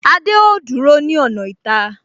Adé ó dúró ní ọ̀nà ìta